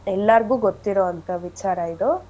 ಎಲ್ಲಾರ್ಗೂ ಗೊತ್ತಿರೊಂಥ ವಿಚಾರ ಇದು.